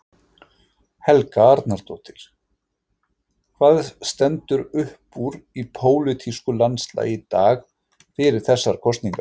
Helga Arnardóttir: Hvað stendur uppúr í pólitísku landslagi í dag fyrir þessar kosningar?